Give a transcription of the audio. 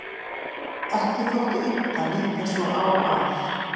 Ekki þótti unnt að líta svo á að